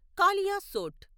Kaliasot